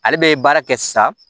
Ale bɛ baara kɛ sisan